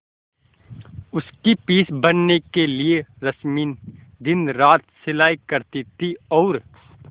उसकी फीस भरने के लिए रश्मि दिनरात सिलाई करती थी और